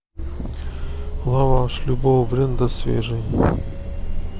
лаваш любого бренда свежий